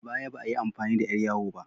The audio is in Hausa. A baya, ba ayi amfani da ƴar yawo ba